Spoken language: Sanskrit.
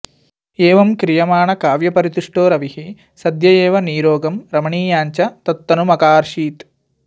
एवं क्रियमाणकाव्यपरितुष्टो रविः सद्य एव नीरोगं रमणीयाञ्च तत्तनुमकार्षीत्